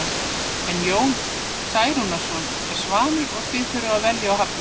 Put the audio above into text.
En Jón Særúnarson er óvanur því að þurfa að velja og hafna.